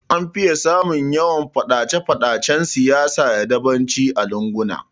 An fiye samun yawan Faɗace Faɗacen siyasa da dabanci a lunguna